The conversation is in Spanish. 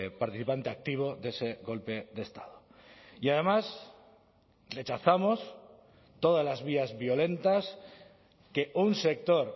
participante activo de ese golpe de estado y además rechazamos todas las vías violentas que un sector